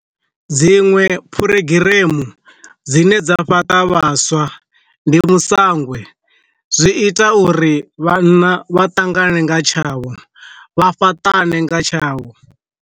Dziṅwe phurogiremu dzine dza fhaṱa vhaswa, ndi misangwe zwi ita uri vhanna vha ṱangane nga tshavho vha fhaṱane nga tshavho.